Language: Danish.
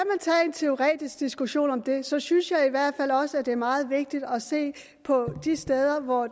en teoretisk diskussion om det synes synes jeg i hvert fald også at det er meget vigtigt at se på de steder hvor